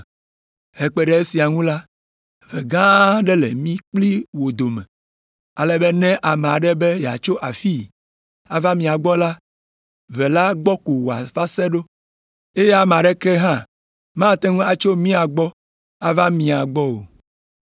Hekpe ɖe esia ŋu la, ʋe gã aɖe le mí kpli wò dome, ale be ne ame aɖe be yeatso afii ava mia gbɔ la, ʋe la gbɔ ko wòava se, eye ame aɖeke hã mate ŋu atso mia gbɔ ava mía gbɔ o.’